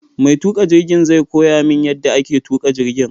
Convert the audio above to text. Mai tuƙa jirgin zai koya min yadda ake tuƙa jirgin